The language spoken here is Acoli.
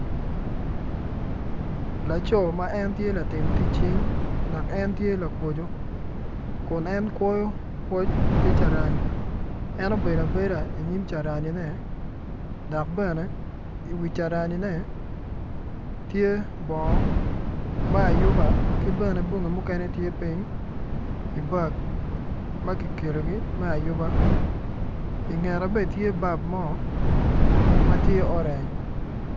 Laco ma en tye latim tic cing dok en tye lakwoco kun en kwoyo kwoc ki carani en obedo abeda i nyim caranine dok bene i wi caranine tye bongo me ayuba ki bene bongi mukene tye piny.